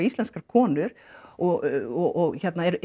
íslenskar konur og